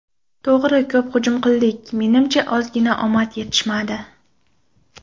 To‘g‘ri ko‘p hujum qildik, menimcha ozgina omad yetishmadi.